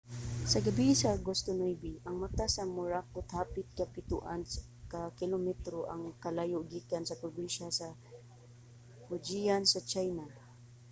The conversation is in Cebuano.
sa gabii sa agosto 9 ang mata sa morakot hapit kapitoan ka kilometro ang kalayo gikan sa probinsiya sa fujian sa china